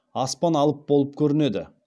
аспан алып болып көрінеді